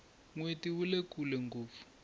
nweti wule kule ngopfu